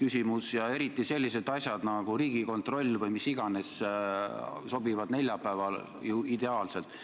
küsimus ja eriti sellised asjad nagu Riigikontrolli ülevaated või mis iganes aruanded sobivad neljapäeval ju ideaalselt.